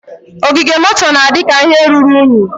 Ogige moto na-adị ka ihe ruru unyi.